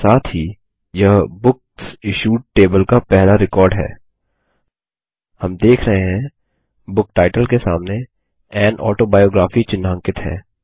इसके साथ ही यह बुकसिश्यूड टेबल का पहले रिकॉर्ड है हम देख रहे हैं बुक टाइटल के सामने एएन ऑटोबायोग्राफी चिह्नांकित है